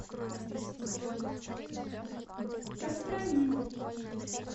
костромин